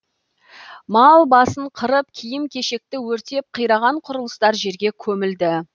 мал басын қырып киім кешекті өртеп қираған құрылыстар жерге көмілді